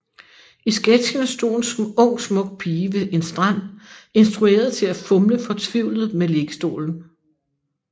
I sketchen stod en ung smuk pige ved en strand instrueret til at fumle fortvivlet med liggestolen